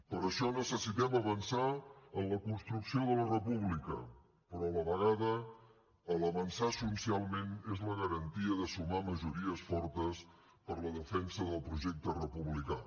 per això necessitem avançar en la construcció de la república però a la vegada avançar socialment és la garantia de sumar majories fortes per la defensa del projecte republicà